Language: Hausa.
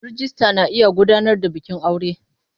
Rijista na iya gudanar da bikin aure.